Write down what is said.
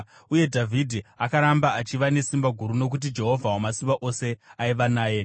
Uye Dhavhidhi akaramba achiva nesimba guru nokuti Jehovha Wamasimba Ose aiva naye.